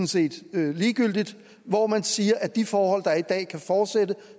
set ligegyldigt hvor man siger at de forhold der i dag kan fortsætte